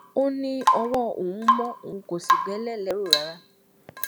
ó ní ọwọ òun mọ òun kò sì bẹlẹ lẹrù rárá